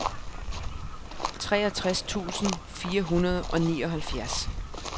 treogtres tusind fire hundrede og nioghalvfjerds